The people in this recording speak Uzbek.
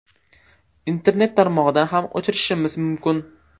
Internet tarmog‘idan ham o‘chirishimiz mumkin.